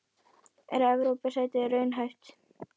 Er Evrópusæti raunhæft?